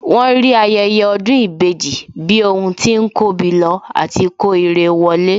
Wọ́n rí ayẹyẹ ọdún ìbejì bí ohun tí ń kóbi lọ àti kó irẹ wọlé